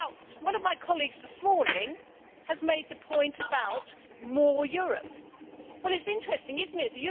One of my colleagues this morning has made the point about more Europe'. Well, it is interesting, is it not?